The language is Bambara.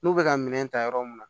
N'u bɛ ka minɛn ta yɔrɔ mun na